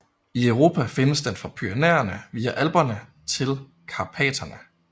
I Europa findes den fra Pyrenæerne via Alperne til Karpaterne